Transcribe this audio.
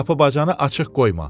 Qapı-bacanı açıq qoyma.